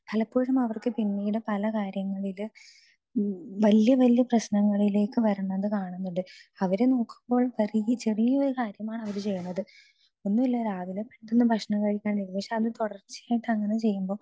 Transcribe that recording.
speaker 2 പലപ്പോഴും അവർക്ക് പിന്നീട് പലകാര്യങ്ങളില് വലിയ വലിയ പ്രശ്നങ്ങളിലേക്ക് വരുന്നത് കാണുന്നുണ്ട് അവരു നോക്കുമ്പോൾ വളരെ ചെറിയ കാര്യമാണ് അവര് ചെയ്യുന്നത് ഒന്നല്ല രാവിലെ പെട്ടെന്ന് ഭക്ഷണം കഴിക്കാതെ പക്ഷെ അത് തുടർച്ചയായിട്ട് അങ്ങനെ ചെയ്യുമ്പോ